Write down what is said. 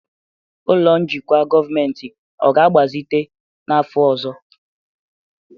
ụlọ njikwa gọọmentị ọ ga-agbazite n'afọ ọzọ?